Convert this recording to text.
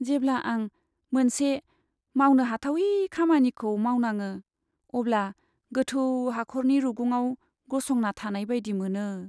जेब्ला आं मोनसे मावनो हाथावि खामानिखौ मावनाङो अब्ला गोथौ हाखरनि रुगुंआव गसंना थानाय बायदि मोनो।